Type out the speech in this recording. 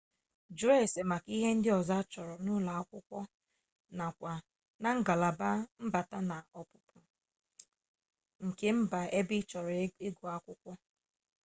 jụọ ese maka ihe ndị ọzọ achọrọ n'ụlọ akwụkwọ nakwa na ngalaba mbata na ọpụpụ nke mba ebe ị chọrọ ịgụ akwụkwọ